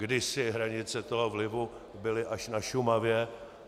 Kdysi hranice toho vlivu byly až na Šumavě.